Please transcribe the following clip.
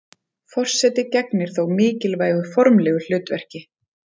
forseti gegnir þó mikilvægu formlegu hlutverki